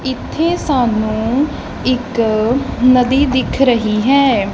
ਇੱਥੇ ਸਾਨੂੰ ਇੱਕ ਨਦੀ ਦਿੱਖ ਰਹੀ ਹੈ।